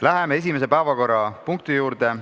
Läheme esimese päevakorrapunkti juurde.